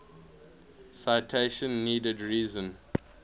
citation needed reason